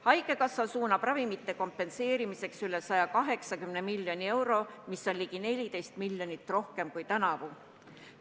Haigekassa suunab ravimite kompenseerimiseks üle 180 miljoni euro, mida on ligi 14 miljonit rohkem kui tänavu.